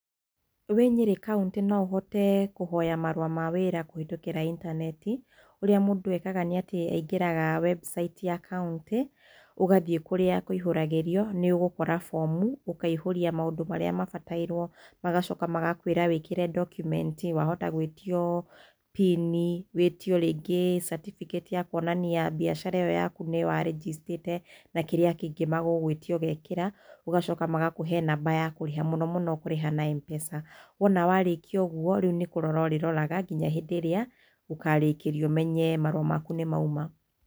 Wĩ Nyeri kauntĩ, no ũhote kũhoya marũa ma wĩra kũhĩtũkĩra intaneti. Ũrĩa mũndũ ekaga nĩ atĩ aingĩraga website ya kauntĩ, ũgathiĩ kũrĩa kũihũragĩrio, nĩ ũgũkora bomu, ũkaihũria maũndũ marĩa mabatairwo. Magacoka magakwĩra wĩkĩre ndokumenti, wahota gwĩtio pin wĩtio rĩngĩ certificate ya kũonania mbiacara ĩyo yaku nĩ we warĩnjĩcitĩte na kĩrĩa kĩngĩ magũgũĩtia ũgekĩra. Ũgacoka magakũhe namba ya kũrĩha, mũno mũno ũkũrĩha na M-Pesa. Wona warĩkia ũguo, rĩu nĩ kũrora ũrĩroraga, nginya hĩndĩ ĩrĩa ũkarĩkĩrio ũmenye marũa maku nĩ mauma.